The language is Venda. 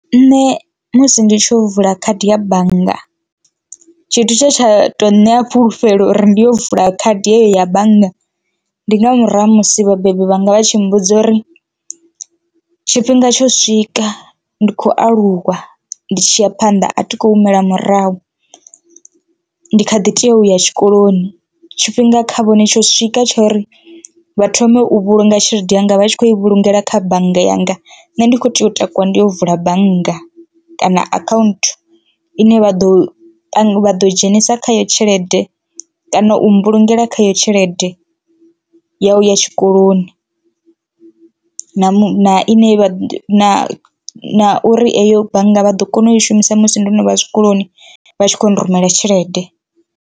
Nṋe musi ndi tshiyo vula khadi ya bannga tshithu tshe tsha to ṋea fhulufhelo uri ndi yo vula khadi yeyo ya bannga ndi nga murahu ha musi vhabebi vhanga vha tshi mmbudza uri tshifhinga tsho swika ndi khou aluwa ndi tshi ya phanḓa a thi khou humela murahu ndi kha ḓi tea uya tshikoloni. Tshifhinga kha vhone tsho swika tshori vha thome u vhulunga tshelede yanga vha tshi kho i vhulungela kha bannga yanga nṋe ndi kho tea u takuwa ndi yo vula bannga kana account, ine vha ḓo vha ḓo dzhenisa khayo tshelede kana u mbulungela khayo tshelede ya uya tshikoloni na na na na uri eyo bannga vha ḓo kona u i shumisa musi ndo no vha zwikoloni vha tshi kho rumela tshelede.